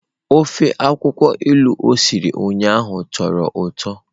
Ofe akwụkwọ ilu o siri ụnyahụ tọrọ ụtọ.